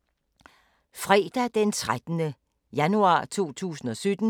Fredag d. 13. januar 2017